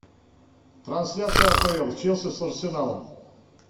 трансляция апл челси с арсеналом